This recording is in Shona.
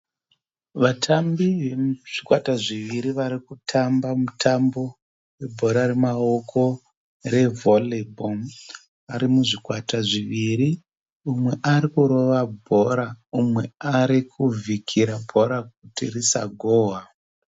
Vatambi vezvikwata zviviri varikutamba mutambo webhora remaoko revolley ball ari muzvikwata zviviri mumwe arikurova bhora mumwe arikuvhikira bhora kuti risagohwa.